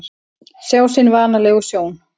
Sjá sinni vanalegu sjón.